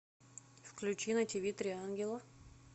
включи на ти ви три ангела